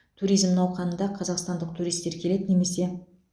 туризм науқанында қазақстандық туристер келеді немесе